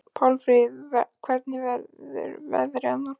Pálmfríður, hvernig verður veðrið á morgun?